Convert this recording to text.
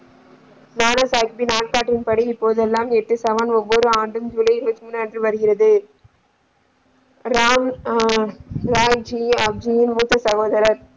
நானா சாகிப்பேன் நாள் காட்டின்படி இப்போது எல்லாம் எட்டு சமம் ஒவ்வொரு ஆண்டும் ஜூலை இருபத்தி முன்று அன்று வருகிறத ராம் ஹம் அப்துல் மூத்த சகோதரர்.